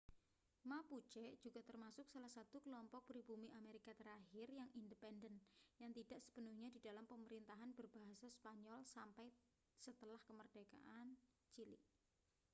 mapuche juga termasuk salah satu kelompok pribumi amerika terakhir yang independen yang tidak sepenuhnya di dalam pemerintahan berbahasa spanyol sampai setelah kemerdekaan chile